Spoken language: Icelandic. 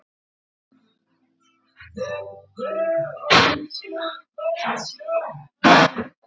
Sunna: Hversu mikið notarðu símann þinn á dag?